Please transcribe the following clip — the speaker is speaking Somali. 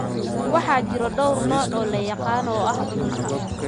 Waxaa jira dhowr nooc oo la yaqaan oo ah cudurka Creutzfeldt Jakob (CJD).